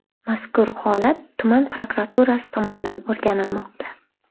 Mazkur holat tuman prokuraturasi tomonidan o‘rganilmoqda.